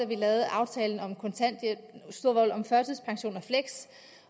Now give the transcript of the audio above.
vi lavede aftalen om førtidspension